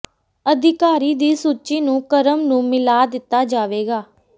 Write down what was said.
ਅਧਿਕਾਰੀ ਦੀ ਸੂਚੀ ਨੂੰ ਕ੍ਰਮ ਨੂੰ ਮਿਲਾ ਦਿੱਤਾ ਜਾਵੇਗਾ